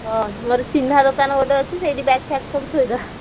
ହଁ ମୋର ଚିହ୍ନା ଦୋକାନ ଗୋଟେ ଅଛି ସେଇଠି bag ଫ୍ଯାଗ ସବୁ ଥୋଇଦେବା।